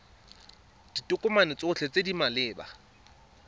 ditokomane tsotlhe tse di maleba